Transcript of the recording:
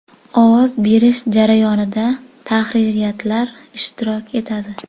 Ovoz berish jarayonida tahririyatlar ishtirok etadi.